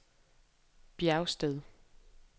Bjergsted